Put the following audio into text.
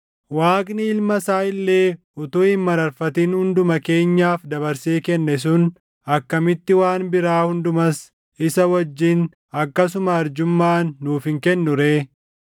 Waaqni Ilma isaa illee utuu hin mararfatin hunduma keenyaaf dabarsee kenne sun akkamitti waan biraa hundumas isa wajjin akkasuma arjummaan nuuf hin kennu ree?